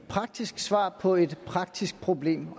praktisk svar på et praktisk problem